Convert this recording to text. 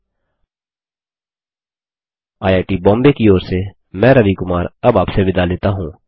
httpspoken tutorialorgNMEICT Intro IIT Bombay की ओर से मैं रवि कुमार अब आपसे विदा लेता हूँ